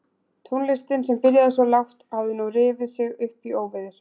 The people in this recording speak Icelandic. Tónlistin sem byrjaði svo lágt hafði nú rifið sig upp í óveður.